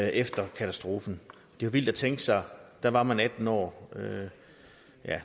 efter katastrofen det er vildt at tænke sig at da var man atten år ja